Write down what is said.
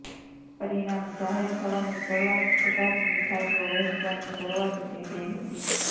પરિણામ જાહેર થવાની શરૂઆત થતા જ મિઠાઇઓ વહેચવાની શરૂઆત થઇ ગઇ હતી